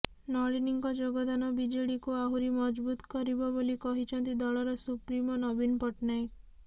ନଳିନୀଙ୍କ ଯୋଗଦାନ ବିଜେଡିକୁ ଆହୁରି ମଜବୁତ କରିବ ବୋଲି କହିଛନ୍ତି ଦଳର ସୁପ୍ରିମୋ ନବୀନ ପଟ୍ଟନାୟକ